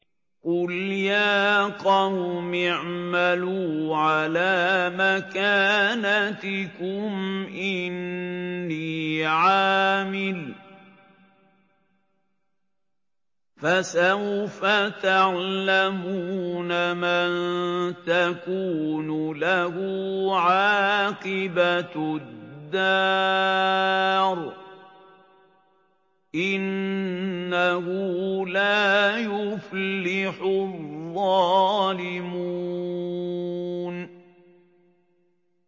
قُلْ يَا قَوْمِ اعْمَلُوا عَلَىٰ مَكَانَتِكُمْ إِنِّي عَامِلٌ ۖ فَسَوْفَ تَعْلَمُونَ مَن تَكُونُ لَهُ عَاقِبَةُ الدَّارِ ۗ إِنَّهُ لَا يُفْلِحُ الظَّالِمُونَ